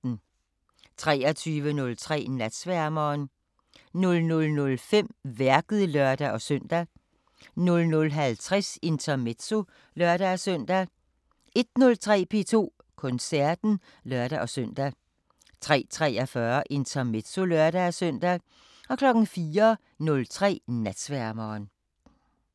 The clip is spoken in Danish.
23:03: Natsværmeren 00:05: Værket (lør-søn) 00:50: Intermezzo (lør-søn) 01:03: P2 Koncerten (lør-søn) 03:43: Intermezzo (lør-søn) 04:03: Natsværmeren